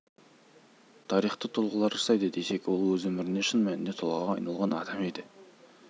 тарихты тұлғалар жасайды десек ол өз өмірінде шын мәнінде тұлғаға айналған адам еді